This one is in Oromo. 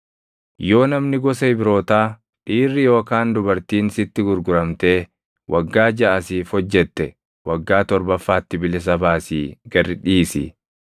Yoo namni gosa Ibrootaa, dhiirri yookaan dubartiin sitti gurguramtee waggaa jaʼa siif hojjette, waggaa torbafaatti bilisa baasii gad dhiisi.